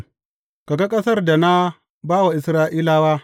Ka ga ƙasar da na ba wa Isra’ilawa.